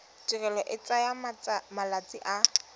tirelo e tsaya malatsi a